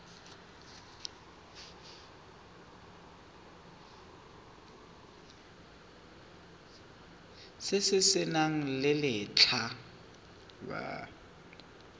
se se nang le letlha